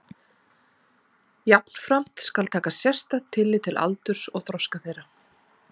Jafnframt skal taka sérstakt tillit til aldurs og þroska þeirra.